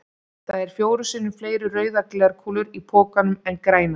Það eru fjórum sinnum fleiri rauðar glerkúlur í pokanum en grænar.